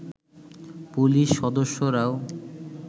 police সদস্যরাও